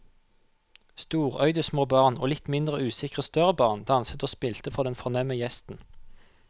Storøyde små barn og litt mindre usikre større barn danset og spilte for den fornemme gjesten.